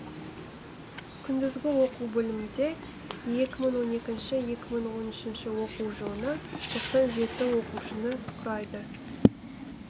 күндізгі оқу бөлімінде екі мың он екінші екі мың он үшінші оқу жылына тоқсан жеті оқушыны құрайды